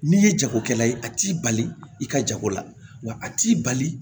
N'i ye jagokɛla ye a t'i bali i ka jago la wa a t'i bali